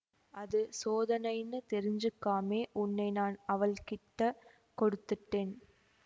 அது சோதனைன்னு தெரிஞ்சுக்காமே உன்னை நான் அவள் கிட்டக் கொடுத்துட்டேன்